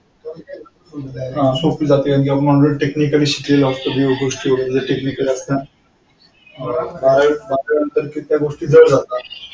हा सोपी जाते आणि techniacally skill बारावी झाल्यानंतर त्या गोष्टी जाड जातात.